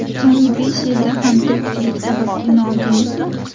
So‘nggi besh yilda ham tirikchilik sabab kino oldingizmi?